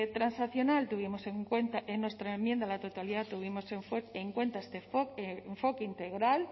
a la totalidad tuvimos en cuenta tuvimos en cuenta este enfoque integral